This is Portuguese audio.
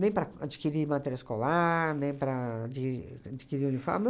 nem para adquirir material escolar, nem para di adquirir uniforme.